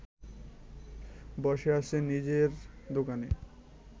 বসে আছে নিজের দোকানে